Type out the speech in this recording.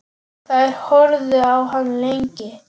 Þær horfðu á hann lengi.